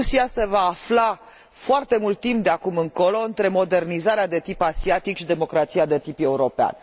Rusia se va afla, foarte mult timp de acum încolo, între modernizarea de tip asiatic și democrația de tip european.